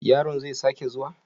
Yaron zai sake zuwa?